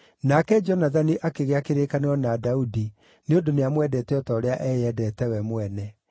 Nake Jonathani akĩgĩa kĩrĩkanĩro na Daudi nĩ ũndũ nĩamwendete o ta ũrĩa eyendete we mwene.